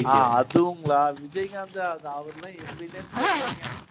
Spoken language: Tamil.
விஜய்காந்த் அவரெல்லாம் எங்கேன்னே தெரியலைங்க